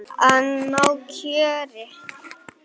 Að ná kjöri.